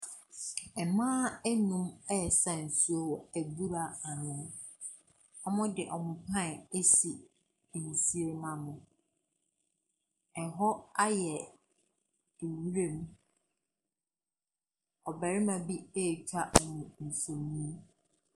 Mmaa mmienu resa nsuo wɔ abura ano. Wɔde wɔn pan asi nsuo no ano. ℇhɔ ayɛ nwuram. Ↄbarima bi retwa wɔn mfonin.